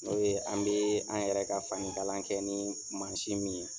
N'o ye an bɛ an yɛrɛ ka fanikala kɛ ni mansin min ye